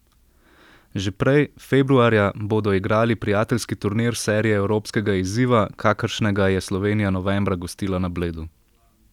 Že prej, februarja, bodo igrali prijateljski turnir serije evropskega izziva, kakršnega je Slovenija novembra gostila na Bledu.